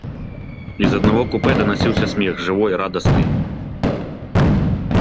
из одного купе доносился смех живой радостный